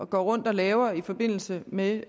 går rundt og laver i forbindelse med